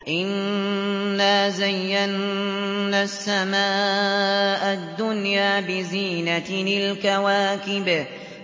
إِنَّا زَيَّنَّا السَّمَاءَ الدُّنْيَا بِزِينَةٍ الْكَوَاكِبِ